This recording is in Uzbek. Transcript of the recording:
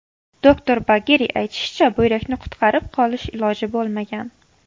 Doktor Bageriy aytishicha, buyrakni qutqarib qolish iloji bo‘lmagan.